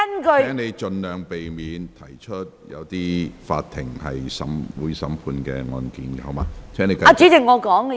蔣議員，請盡量避免提及有待法庭審判的案件。